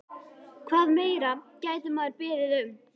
Hvað meira gæti maður beðið um?